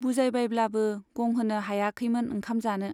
बुजायबायब्लाबो गंहोनो हायाखैमोन ओंखाम जानो।